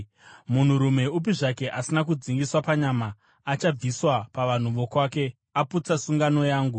Munhurume upi zvake, asina kudzingiswa panyama, achabviswa pavanhu vokwake; aputsa sungano yangu.”